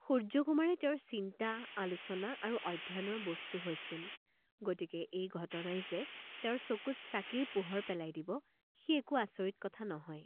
সূৰ্য্যকুমাৰেই তেওঁৰ চিন্তা, আলোচনা আৰু অধ্যয়নৰ বস্তু হৈছিল, গতিকে এই ঘটনাই যে তেওঁৰ চকুত চাকিৰ পোহৰ পেলাই দিব, সি একো আচৰিত কথা নহয়।